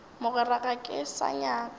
mogwera ga ke sa nyaka